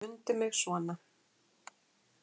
Mundu mig svona.